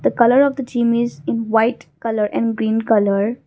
the colour of the gym is in white colour and green colour.